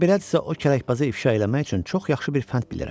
Əgər belədirsə o kələkbazı ifşa eləmək üçün çox yaxşı bir fənd bilirəm.